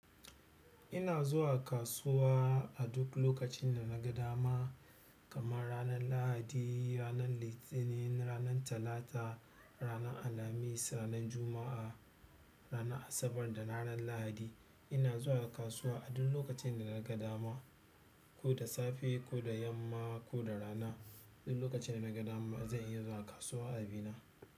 Ina zuwa kasuwa a duk lokacin da na ga dama kamar ranar Lahadi, ranar Litinin, ranar Talata, ranar Alhamis, ranar Juma'a, ranar Asabar da ranar Lahadi. Ina zuwa kasuwa a duk lokacin da na ga dama, ko da safe, ko da yamma ko da rana. Duk lokacin da na ga dama zan iya zuwa kasuwa a bina.